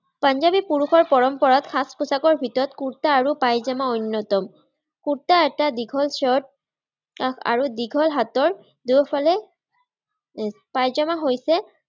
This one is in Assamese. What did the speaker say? পাঞ্জাৱী পুৰুষৰ পৰম্পৰাগত সাজ-পোচাকৰ ভিতৰত কুৰ্টা আৰু পাইজামা অন্যতম। কুৰ্টা এটা দীঘল চাৰ্ট আৰু দীঘল হাতৰ দুয়োফালে, পাইজামা হৈছে